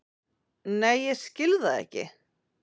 Nei ég skil það ekki.